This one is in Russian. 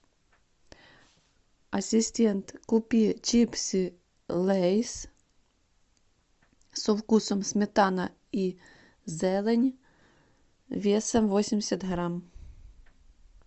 ассистент купи чипсы лейс со вкусом сметана и зелень весом восемьдесят грамм